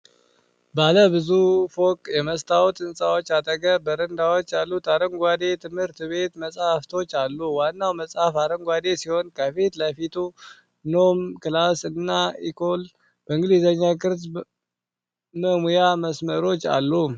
ባለብዙ ፎቅ የመስታወት ሕንጻዎች አጠገብ በረንዳዎች ያሉት አረንጓዴ የትምህርት ቤት መፃሕፍቶች አሉ። ዋናው መፅሐፍ አረንጓዴ ሲሆን፣ ከፊት ለፊት "Nom," "Classe," እና "Ecole" በእንግሊዝኛ ለቅጽ መሙያ መስመሮች አሉ።